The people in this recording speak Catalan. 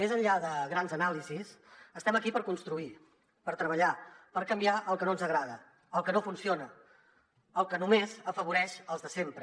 més enllà de grans anàlisis estem aquí per construir per treballar per canviar el que no ens agrada el que no funciona el que només afavoreix els de sempre